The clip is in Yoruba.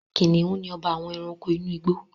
Kìnìún ni ọba àwọn Ẹranko inú igbó